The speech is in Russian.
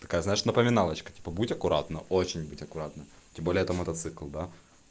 такая знаешь напоминалочка типа будь аккуратна очень будь аккуратна тем более это мотоцикл да